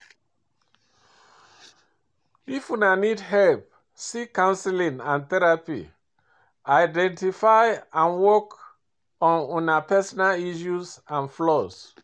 If una need help, seek counseling or therapy; identify and work on una personal issues and flaws.